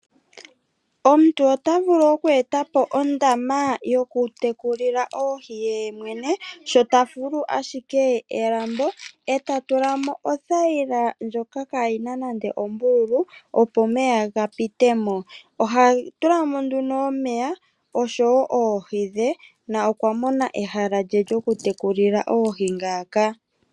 Omuntu otavulu oku etapo ondama yoku tekulilwa oohi yemwene sho tafulu ashike elambo eta tulamo othayila ndjoka kayina nande ombululu opo omeya kaaga pitemo. Oha tulamo nduno omeya oshowo oohi she na okwamona ehala lyoku tekulila oohi ngaaaka.